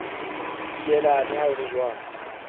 feela leha ho le jwalo